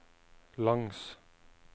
langs